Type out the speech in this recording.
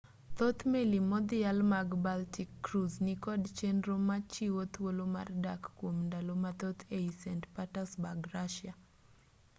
thoth meli modhial mag baltic cruise nikod chenro machiwo thuolo mar dak kwom ndalo mathoth ei st petersburg russia